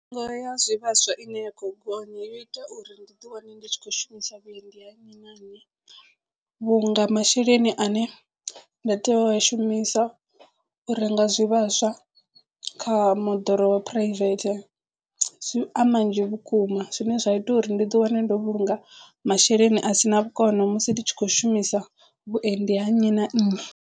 Mitengo ya zwivhaswa i ne ya khou gonya yo ita uri ndi ḓi wane ndi tshi kho shumisa vhuendi ha nnyi na nnyi vhunga masheleni ane nda tea u a shumisa u renga zwivhaswa kha moḓoro wa private zwi a manzhi vhukuma zwine zwa ita uri ndi ḓi wane ndo vhulunga masheleni a sina vhukono musi nditshi khou shumisa vhuendi ha nnyi na nnyi.